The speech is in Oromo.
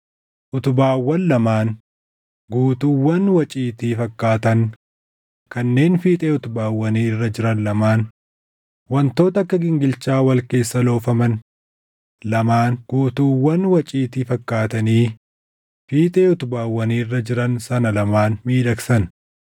Utubaawwan lamaan; guutuuwwan waciitii fakkaatan kanneen fiixee utubaawwanii irra jiran lamaan; wantoota akka gingilchaa wal keessa loofaman lamaan guutuuwwan waciitii fakkaatanii fiixee utubaawwanii irra jiran sana lamaan miidhagsan;